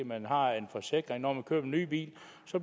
man har en forsikring når man køber en ny bil